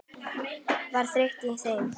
Var þreyta í þeim?